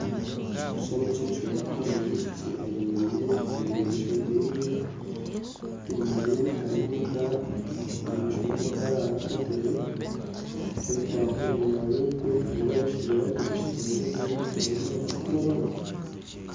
Ekishushani eki nikyoreka omwana wa obwishiki ayemereire omu maisho geye enyuma yeye hariyo amakara omu maisho ga amakara hariho akatebe ka ebibaho enyuma yokwe hariyo abashaija babiri bashutamire then hariho omwana orukurabaho